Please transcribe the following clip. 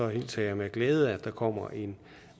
hilser jeg med glæde at der kommer en